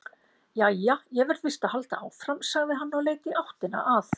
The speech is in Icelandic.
Jæja, ég verð víst að halda áfram, sagði hann og leit í áttina að